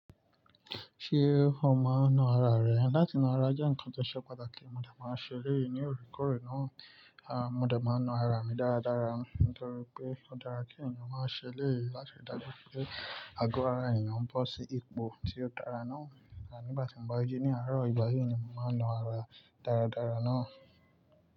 Ṣé omá ń na ara rẹ? Láti na ara jẹ́ ǹkan tó ṣe pàtàkì. Mo dẹ̀ máa ń ṣe léyìí ní òkúkòrùn náà. À, mo dẹ̀ máa na ara mi dáradára nítorí pé ó dára kí ènìyàn máa ṣe léyìí láti dàjú pé àgọ̀ ara ènìyàn bó sí ipò tí ó dára náà. À nígbàtí mo bá jí ní àárọ̀, ìgbà yíì ni mo máa na ara dáradára náà.